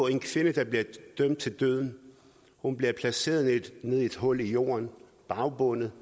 en kvinde der bliver dømt til døden bliver placeret nede i et hul i jorden bagbundet